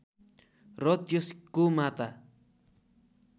र त्यसको माता